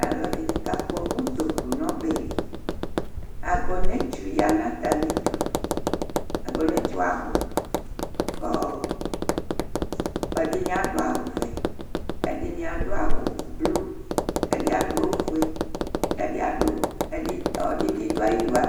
Alʋɛdɩnɩ kakpɔ utoku nʋ ɔbɛ li Agɔnɛtsu ya nʋ atamɩdu Agɔnɛtsu yɛ abʋ kʋ ɔ ɛdɩnɩ adʋ awʋvɛ, ɛdɩnɩ adʋ awʋblu kʋ ɛdɩ adʋ ofue kʋ ɛdɩ adʋ ɛdɩ ɔlɔdɩ bɩ dʋ ayidu adʋ